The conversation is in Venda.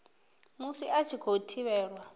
musi a tshi khou thivhelwa